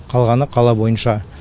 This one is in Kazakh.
қалғаны қала бойынша